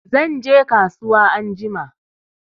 Zanje kasuwa anjima